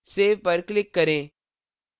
save पर click करें